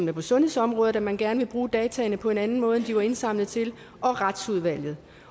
er på sundhedsområdet man gerne vil bruge dataene på en anden måde end de var indsamlet til og retsudvalget